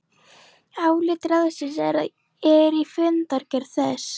Álit ráðsins er í fundargerð þess